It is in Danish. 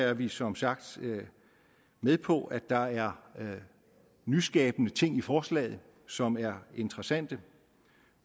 er vi som sagt med på at der er nyskabende ting i forslaget som er interessante